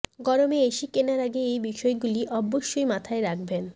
গরমে এসি কেনার আগে এই বিষয়গুলি অবশ্যই মাথায় রাখবেন